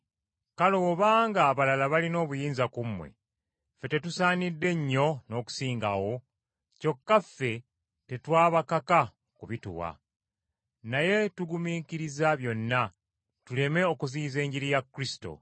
Kale obanga abalala balina obuyinza ku mmwe, ffe tetusaanidde nnyo n’okusingawo? Kyokka ffe tetwabakaka kubituwa. Naye tugumiikiriza byonna, tuleme okuziyiza Enjiri ya Kristo.